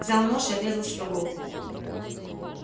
взял нож и отрезал себе голову